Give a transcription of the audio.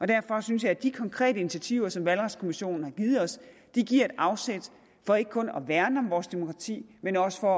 derfor synes jeg at de konkrete initiativer som valgretskommissionen har givet os giver et afsæt for ikke kun at værne om vores demokrati men også for